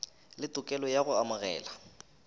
le tokelo ya go amogela